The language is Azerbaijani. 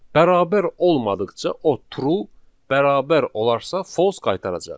Bərabər olmadıqca o true, bərabər olarsa false qaytaracaq.